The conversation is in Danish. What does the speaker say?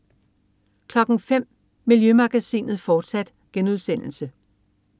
05.00 Miljømagasinet, fortsat*